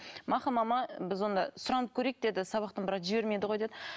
мақұл мама біз онда сұранып көрейік деді сабақтан бірақ жібермейді ғой деді